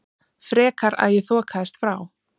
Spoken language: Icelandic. Frekar að ég þokaðist frá.